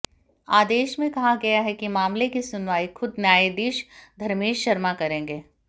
आदेश में कहा गया है कि मामले की सुनवाई खुद न्यायाधीश धर्मेश शर्मा करेंगे